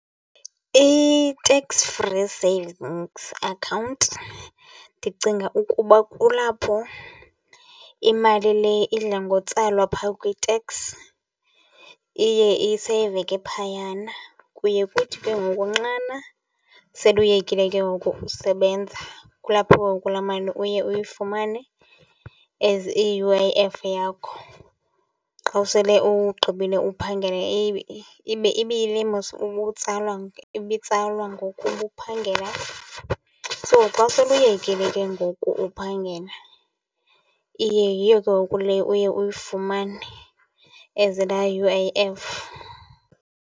I-tax free savings account ndicinga ukuba kulapho imali le idla ngotsalwa phaa kwi-tax iye iseyiveke phayana. Kuye kuthi ke ngoku nxana sele uyekile ke ngoku usebenza, kulapho ngoku laa mali uye uyifumane as i-U_I_F yakho. Xa usele ugqibile uphangela iye ibe ibe yile mos ubutsalwa, ibitsalwa ngoku ubuphangela. So xa sele uyekile ke ngoku ukuphangela iye yiyo ke ngoku le uye uyifumane as laa U_I_F.